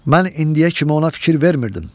Mən indiyə kimi ona fikir vermirdim.